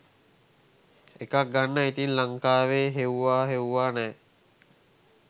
එකක් ගන්න ඉතින් ලංකාවේ හෙවිවා හෙවිවා නෑ